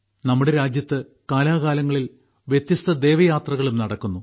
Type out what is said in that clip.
നമ്മുടെ രാജ്യത്ത് കാലാകാലങ്ങളിൽ വ്യത്യസ്ത ദേവയാത്രകളും നടക്കുന്നു